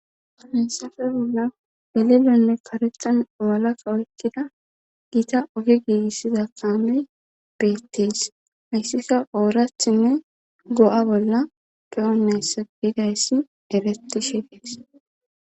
Hamessafe bolla gelelonne karexan owalakka oykkida giita oge giigissiza kaamey beettees hayssika oorathinne go7a bolla ge7onnayssa biidayssi ereti shegees